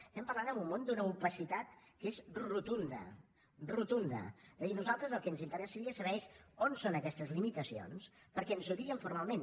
estem parlant en un món d’una opacitat que és rotunda rotunda de dir nosaltres el que ens interessaria saber és on són aquestes limitacions perquè ens ho diguin formalment